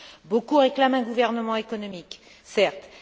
Beaucoup réclament un gouvernement économique, certes.